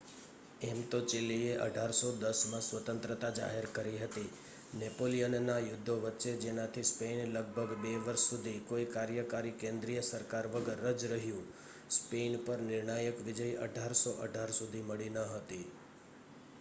એમતો ચીલીએ 1810માં સ્વતંત્રતા જાહેર કરી હતી નેપોલિયનના યુધ્ધો વચ્ચે જેનાથી સ્પેઇન લગભગ બે વર્ષ સુધી કોઈ કાર્યકારી કેન્દ્રીય સરકાર વગર જ રહ્યું સ્પેઇન પર નિર્ણાયક વિજય 1818 સુધી મળી ન હતી